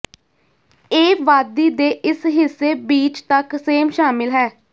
ਇਹ ਵਾਦੀ ਦੇ ਇਸ ਹਿੱਸੇ ਬੀਚ ਤੱਕ ਸੇਮ ਸ਼ਾਮਿਲ ਹੈ